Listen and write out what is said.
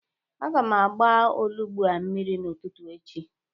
Aga m agba onugbu a mmiri n'ụtụtụ echi.